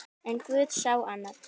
En guð sá annað.